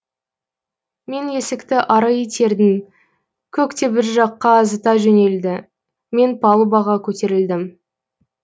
мен есікті ары итердім кок те бір жаққа зыта жөнелді мен палубаға көтерілдім